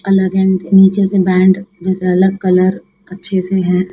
अलग एंड नीचे से बैंड जैसा अलग कलर अच्छे से है।